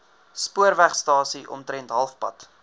spoorwegstasie omtrent halfpad